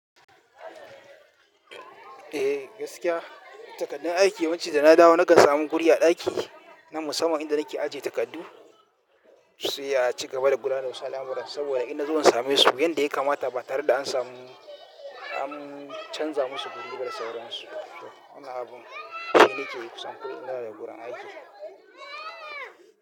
Eh gaskiya takardun aiki wancan da na dawo na ga samun guri a daki na musamman inda nake ajiye takardu. Sai a cigaba da kula da wasu al'amuran saboda ina zuwa in same su yanda ya kamata ba tare da an samu an canza musu guri ba da sauransu. Wannan abun shi nake yi kusan kullum in na dawo daga gurin aiki.